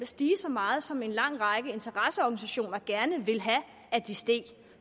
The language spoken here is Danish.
stige så meget som en lang række interesseorganisationer gerne ville have at de steg